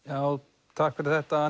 já takk fyrir þetta